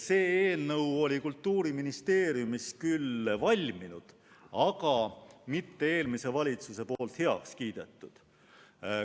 See eelnõu oli Kultuuriministeeriumis küll valminud, aga mitte eelmiselt valitsuselt heakskiitu saanud.